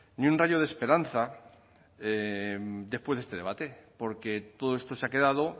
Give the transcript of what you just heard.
ni un rayo de esperanza después de este debate porque todo esto se ha quedado